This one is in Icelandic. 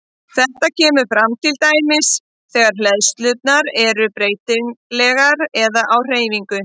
Þetta kemur fram til dæmis þegar hleðslurnar eru breytilegar eða á hreyfingu.